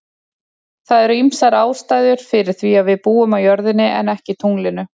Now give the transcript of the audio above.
Það eru ýmsar ástæður fyrir því að við búum á jörðinni en ekki tunglinu.